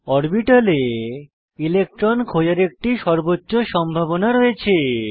অরবিটালে electron খোঁজার একটি সর্বোচ্চ সম্ভাবনা রয়েছে